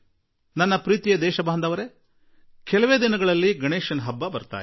ನನ್ನೊಲವಿನ ನಾಗರಿಕರೆ ಇನ್ನು ಕೆಲವೇ ದಿನಗಳಲ್ಲಿ ಗಣೇಶೋತ್ಸವ ಬರಲಿದೆ